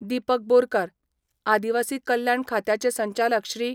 दिपक बोरकार, आदिवासी कल्याण खात्याचे संचालक श्री.